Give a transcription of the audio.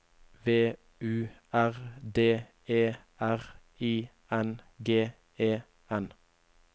V U R D E R I N G E N